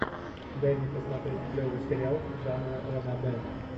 дай мне посмотреть клевый сериал жанра ранобэ